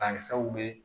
Banakisɛw bɛ